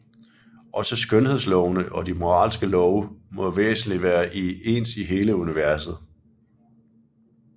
Også skønhedslovene og de moralske love må væsentlig være ens i hele universet